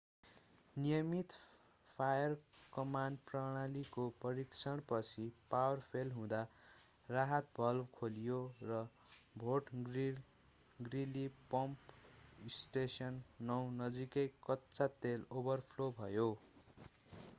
नियमित फायर-कमान्ड प्रणालीको परीक्षणपछि पावर फेल हुँदा राहत भल्भ खोलियो र फोर्ट ग्रीली पम्प स्टेसन 9 नजिकै कच्चा तेल ओभरफ्लो भयो